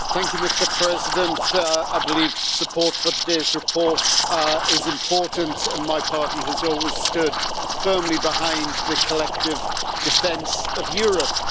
Mr President, I believe support for today's report is important, and my party has always stood firmly behind the collective defence of Europe.